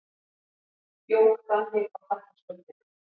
Jók þannig á þakkarskuldina.